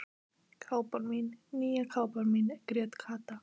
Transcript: Kápan mín, nýja kápan mín grét Kata.